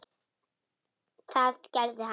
Það gerði hann.